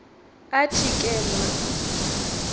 athi ke mna